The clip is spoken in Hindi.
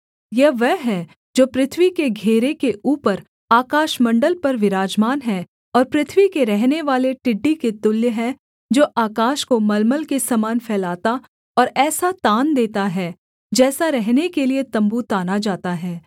यह वह है जो पृथ्वी के घेरे के ऊपर आकाशमण्डल पर विराजमान है और पृथ्वी के रहनेवाले टिड्डी के तुल्य है जो आकाश को मलमल के समान फैलाता और ऐसा तान देता है जैसा रहने के लिये तम्बू ताना जाता है